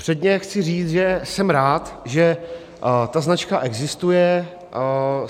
Předně chci říct, že jsem rád, že ta značka existuje.